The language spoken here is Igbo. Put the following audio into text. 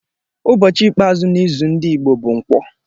Ụbọchị ikpeazụ n'izu ndị Igbo bụ Nkwọ